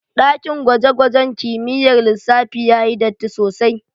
daƙin gwaje-gwajen kimiƴƴar lissafi ya yi ɗatti sosai.